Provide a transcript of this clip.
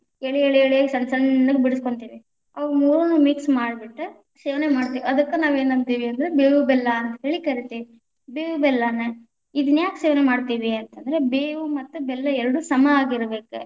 ಎಳಿ ಎಳಿ ಎಳಿಯಾಗಿ ಸಣ್ಣ ಸಣ್ಣಗ್‌ ಬಿಡಸ್ಕೊಂತಿವಿ, ಅವು ಮೂರುನ್ನು mix ಮಾಡ್ಬಿಟ್ಟ ಸೇವನೆ ಮಾಡ್ತೀವಿ ಅದಕ್ಕ ನಾವ ಏನಂತಿವಿ ಅಂದ್ರ ಬೇವು ಬೆಲ್ಲಾ ಅಂತ ಹೇಳಿ ಕರಿತೇವಿ, ಬೇವು ಬೆಲ್ಲಾನ ಇದನ್ಯಾಕ ಸೇವನೆ ಮಾಡ್ತೀವಿ ಅಂತ ಅಂದ್ರ ಬೇವು ಮತ್ತ ಬೆಲ್ಲಾ ಎರಡು ಸಮಾ ಆಗಿರಬೇಕ.